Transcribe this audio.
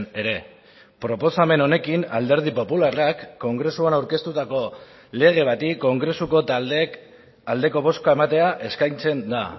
ere proposamen honekin alderdi popularrak kongresuan aurkeztutako lege bati kongresuko taldeek aldeko bozka ematea eskaintzen da